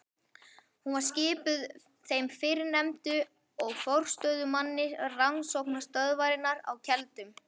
Hún var skipuð þeim fyrrnefndu og forstöðumanni rannsóknastöðvarinnar á Keldum.